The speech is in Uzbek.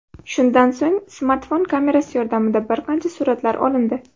Shundan so‘ng, smartfon kamerasi yordamida bir qancha suratlar olindi.